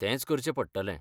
तेंच करचें पडटलें.